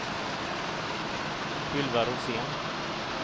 Ylva Rosén